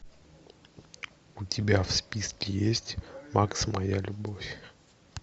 у тебя в списке есть макс моя любовь